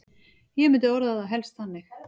Ég myndi orða það helst þannig.